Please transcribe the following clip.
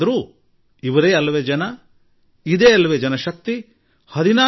ಆದರೆ ಇವರೇ ಜನ ಇವರೇ ಜಗತ್ತಿನಶಕ್ತಿ ಇವರೇ ಸಾಮರ್ಥ್ಯ